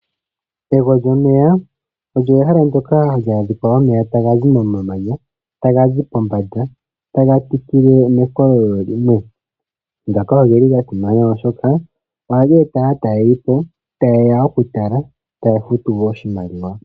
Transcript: Ego lyomeya olyo ehala ndyoka hali adhika omeya taga zi momamanya, taga zi pombanda tapitile mekololo limwe. Ngaka ogeli gasimana oshoka ohaga eta aatalelipo taye ya okutala, taya futu oshimaliwa.